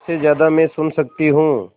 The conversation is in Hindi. सबसे ज़्यादा मैं सुन सकती हूँ